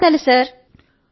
ధన్యవాదాలు సర్